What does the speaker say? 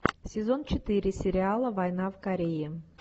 сезон четыре сериала война в корее